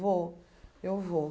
Vou, eu vou.